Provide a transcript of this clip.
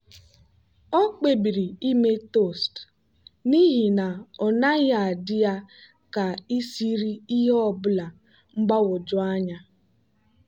o kpebiri ime toast n'ihi na ọ naghị adị ya ka isiri ihe ọ bụla mgbagwoju anya.